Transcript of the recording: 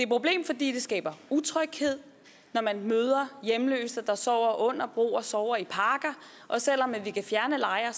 problem fordi det skaber utryghed når man møder hjemløse der sover under broer sover i parker og selv om vi kan fjerne lejre